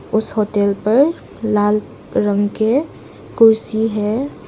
उस होटल पर लाल रंग के कुर्सी है।